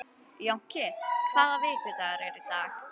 Jónki, hvaða vikudagur er í dag?